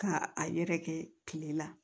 Ka a yɛrɛkɛ kile la